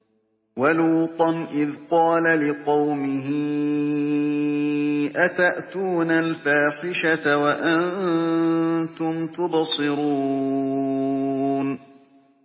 وَلُوطًا إِذْ قَالَ لِقَوْمِهِ أَتَأْتُونَ الْفَاحِشَةَ وَأَنتُمْ تُبْصِرُونَ